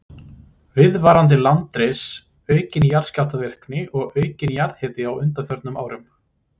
Viðvarandi landris, aukin jarðskjálftavirkni og aukinn jarðhiti á undanförnum árum.